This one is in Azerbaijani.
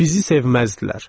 Bizi sevməzdilər.